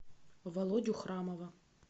володю храмова